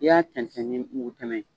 I y'a tɛntɛn ni mugu tɛmɛn ye.